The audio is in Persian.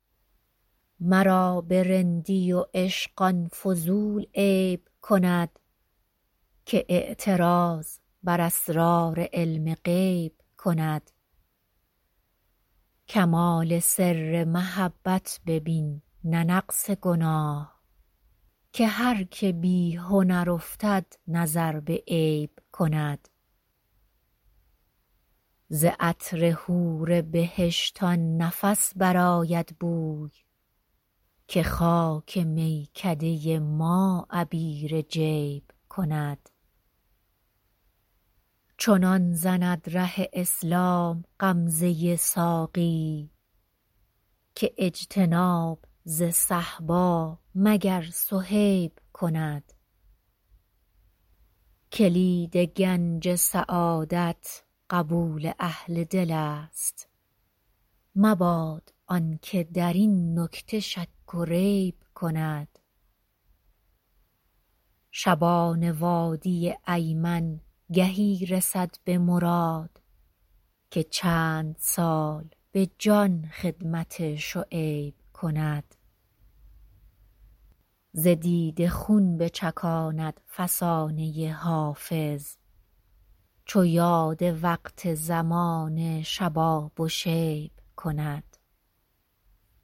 مرا به رندی و عشق آن فضول عیب کند که اعتراض بر اسرار علم غیب کند کمال سر محبت ببین نه نقص گناه که هر که بی هنر افتد نظر به عیب کند ز عطر حور بهشت آن نفس برآید بوی که خاک میکده ما عبیر جیب کند چنان زند ره اسلام غمزه ساقی که اجتناب ز صهبا مگر صهیب کند کلید گنج سعادت قبول اهل دل است مباد آن که در این نکته شک و ریب کند شبان وادی ایمن گهی رسد به مراد که چند سال به جان خدمت شعیب کند ز دیده خون بچکاند فسانه حافظ چو یاد وقت زمان شباب و شیب کند